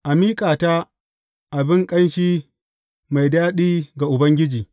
A miƙa ta abin ƙanshi mai daɗi ga Ubangiji.